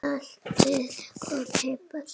Saltið og piprið.